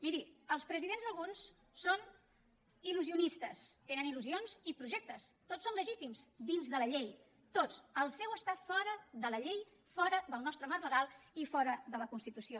miri els presidents alguns són il·lusionistes tenen illusions i projectes tots són legítims dins de la llei tots el seu està fora de la llei fora del nostre marc legal i fora de la constitució